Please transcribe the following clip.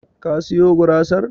Ka siyo gurasar?